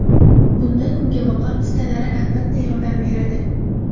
Bunda kungaboqar pistalari, albatta, yordam beradi.